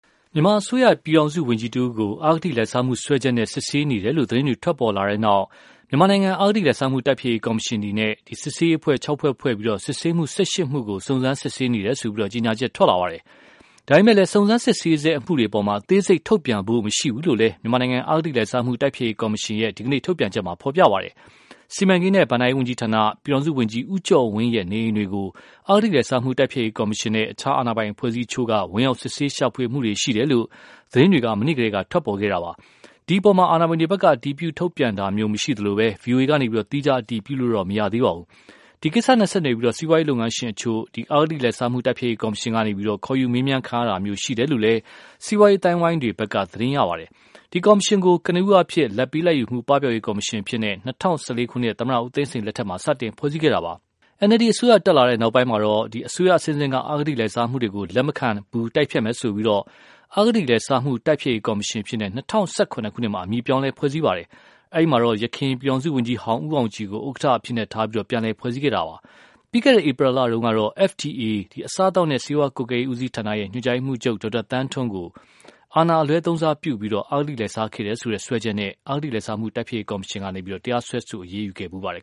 မြန်မာအစိုးရ ပြည်ထောင်စုဝန်ကြီးတဦးကို အဂတိလိုက်စားမှုစွဲချက်နဲ့ စစ်ဆေးနေတယ်လို့ သတင်းတွေ ထွက်ပေါ်လာတဲ့နောက်၊ မြန်မာနိုင်ငံ အဂတိလိုက်စားမှု တိုက်ဖျက်ရေးကော်မရှင်အနေနဲ့ စစ်ဆေးရေးအဖွဲ့ ၆ ဖွဲ့ ဖွဲ့ပြီး စစ်ဆေးမှု ၁၈ မှုကို စုံစမ်းစစ်ဆေးနေတယ်လို့ ကြေညာချက်ထွက်လာပါတယ်။ ဒါပေမယ့်လည်း စုံစမ်းစစ်ဆေးဆဲအမှုတွေအပေါ် အသေးစိတ်ထုတ်ပြန်ဖို့ မရှိဘူးလို့လည်း မြန်မာနိုင်ငံ အဂတိလိုက်စားမှု တိုက်ဖျက်ရေးကော်မရှင်ရဲ့ ဒီကနေ့ ထုတ်ပြန်ချက်မှာ ဖော်ပြပါရှိပါတယ်။ စီမံကိန်းနဲ့ ဘဏ္ဍာရေးဝန်ကြီးဌာန ပြည်ထောင်စုဝန်ကြီး ဦးကျော်ဝင်းရဲ့ နေအိမ်တွေကို အဂတိလိုက်စားမှုတိုက်ဖျက်ရေးကော်မရှင်နဲ့ အခြားအာဏာပိုင်အဖွဲ့အစည်းအချို့ ဝင်ရောက် စစ်ဆေးရှာဖွေမှုတွေ ရှိခဲ့တယ်လို့ သတင်းတွေ မနေ့ကတည်းက ထွက်ပေါ်ခဲ့တာပါ။ ဒီအပေါ် အာဏာပိုင်တွေဖက်က အတည်ပြု ထုတ်ပြန်တာမျိုးမရှိသလို၊ ဗွီအိုအေ ကနေ သီးခြားအတည်ပြုလို့လည်း မရသေးပါဘူး။ ဒီ ကိစ္စနဲ့ဆက်နွယ်ပြီး စီးပွားရေးလုပ်ငန်းရှင်အချို့ကို အဂတိလိုက်စားမှုတိုက်ဖျက်ရေးကော်မရှင်ကနေ ခေါ်ယူမေးမြန်းတာမျိုးရှိနေတယ်လို့လည်း စီးပွားရေးအသိုင်းအဝိုင်းတွေဖက်က သတင်းရရှိပါတယ်။ ဒီကော်မရှင်ကို ကနဦးအားဖြင့် လာဘ်ပေး လာဘ်ယူမှု ပပျောက်ရေးကော်မရှင်အဖြစ် ၂၀၁၄ ခုနှစ် သမ္မတဦးသိန်းစိန်လက်ထက်မှာ စတင် ဖွဲ့စည်းခဲ့တာပါ။ NLD အစိုးရတက်လာတဲ့နောက်ပိုင်း အစိုးရအဆင့်ဆင့် အဂတိလိုက်စားမှုတွေကို အရေးယူသွားမယ်လို့ဆိုပြီး၊ အဂတိလိုက်စားမှု တိုက်ဖျက်ရေးကော်မရှင်အဖြစ် ၂၀၁၇ ခုနှစ်မှာ အမည်ပြောင်းလဲ ဖွဲ့စည်းပါတယ်။ အဲဒီမှာတော့ ယခင် ပြည်ထောင်စုဝန်ကြီးဟောင်း ဦးအောင်ကြည်ကို ဥက္ကဌအဖြစ်ထား ပြန်လည်ဖွဲ့စည်းခဲ့တာပါ။ ပြီးခဲ့တဲ့ ဧပြီလတုန်းကတော့ FDA အစားအသောက်နဲ့ ဆေးဝါးကွပ်ကဲရေးဦးစီးဌာန ညွန်ကြားရေးမှုးချုပ် ဒေါက်တာသန်းထွဋ်ကို အာဏာအလွဲသုံးစားပြုပြီး အဂတိလိုက်စားခဲ့တယ်ဆိုတဲ့စွဲချက်နဲ့ အဂတိလိုက်စားမှုတိုက်ဖျက်ရေးကော်မရှင်က တရားစွဲ အရေးယူခဲ့ပါတယ်